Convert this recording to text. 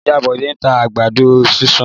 Ìyá Bọ́lá ń ta àgbàdo sísun.